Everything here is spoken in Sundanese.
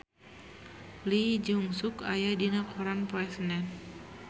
Lee Jeong Suk aya dina koran poe Senen